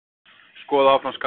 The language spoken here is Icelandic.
Skoða áfram skaðabótamál